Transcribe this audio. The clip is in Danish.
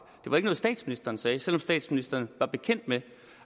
det var ikke noget statsministeren sagde selv om statsministeren var bekendt med